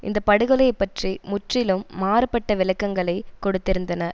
இந்த படுகொலையைப் பற்றி முற்றிலும் மாறுபட்ட விளக்கங்களைக் கொடுத்திருந்தன